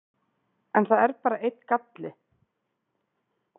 En það er bara einn galli.